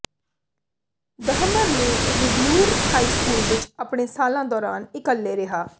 Dahmer ਨੇ Revere high school ਵਿਚ ਆਪਣੇ ਸਾਲਾਂ ਦੌਰਾਨ ਇਕੱਲੇ ਰਿਹਾ